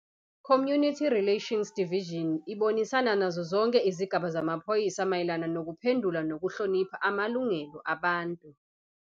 ICommunity Relations Division ibonisana nazo zonke izigaba zamaphoyisa mayelana nokuphendula nokuhlonipha amalungelo abantu.